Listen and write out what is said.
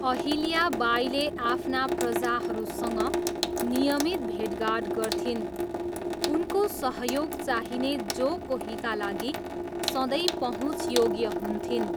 अहिल्या बाईले आफ्ना प्रजाहरूसँग नियमित भेटघाट गर्थिन्, उनको सहयोग चाहिने जो कोहीका लागि सधैँ पहुँचयोग्य हुन्थिन्।